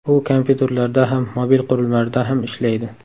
U kompyuterlarda ham, mobil qurilmalarda ham ishlaydi.